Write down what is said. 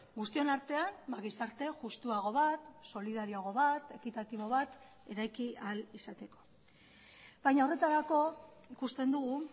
guztion artean gizarte justuago bat solidarioago bat ekitatibo bat eraiki ahal izateko baina horretarako ikusten dugu